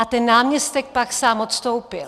A ten náměstek pak sám odstoupil.